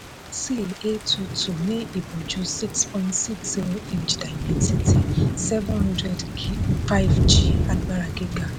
a two two ní ìbojú six point six inch dimensity seven hundred five g àgbára gíga.